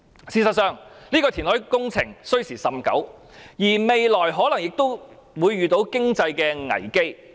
事實上，這項填海工程需時甚久，未來可能遇上經濟危機。